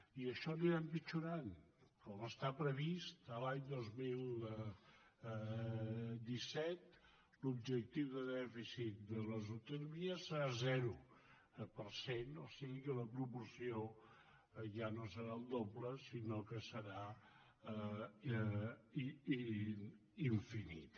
i això anirà empitjorant com està previst l’any dos mil disset l’objectiu de dèficit de les autonomies serà zero per cent o sigui que la proporció ja no serà el doble sinó que serà infinita